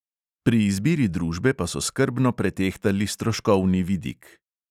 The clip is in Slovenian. Pri izbiri družbe pa so skrbno pretehtali stroškovni vidik.